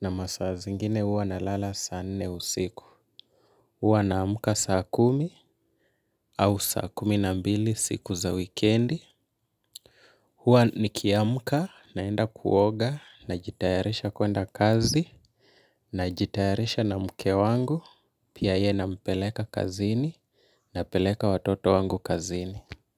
na masaa zingine huwa nalala saa nne usiku. Huwa naamka saa kumi au saa kumi na mbili siku za wikendi. Huwa nikiamka naenda kuoga najitayarisha kuenda kazi najitayarisha na mke wangu pia yeye nampeleka kazini napeleka watoto wangu kazini.